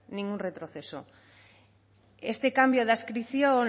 ningún retroceso este cambio de adscripción